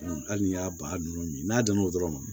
Hali n'i y'a ba ninnu min n'a donna o dɔrɔn ma